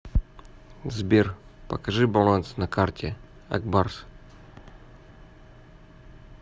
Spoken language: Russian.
сбер покажи баланс на карте акбарс